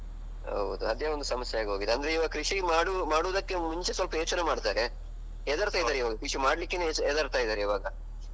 ಹೌದು ಅದೇ ಒಂದು ಸಮಸ್ಯೆ ಆಗ್ಹೋಗಿದೆ. ಅಂದ್ರೆ ಇವಾಗ ಕೃಷಿ ಮಾಡು ಮಾಡುದಕ್ಕೆ ಮುಂಚೆ ಸ್ವಲ್ಪ ಯೋಚನೆ ಮಾಡ್ತಾರೆ. ಹೆದರ್ತಾ ಇದಾರೆ ಈವಾಗ ಕೃಷಿ ಮಾಡ್ಲಿಕ್ಕೇನೆ ಹೆದರ್ತಿದ್ದಾರೆ ಇವಾಗ.